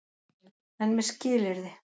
EN MEÐ SKILYRÐI.